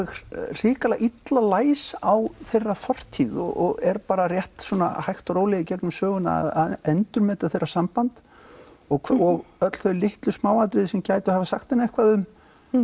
hrikalega illa læs á þeirra fortíð og er hægt og rólega gegnum söguna að endurmeta þeirra samband og og öll þau litlu smáatriði sem gætu hafa sagt henni eitthvað um